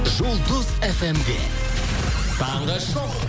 жұлдыз фм де таңғы шоу